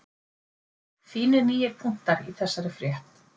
Fínir nýir punktar í þessari frétt